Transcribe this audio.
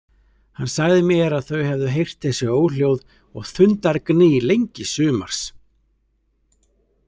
Hann sagði mér að þau hefðu heyrt þessi óhljóð og þundargný lengi sumars.